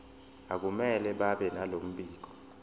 akumele babenalo mbiko